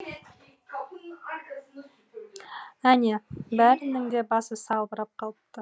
әне бәрінің де басы салбырап қалыпты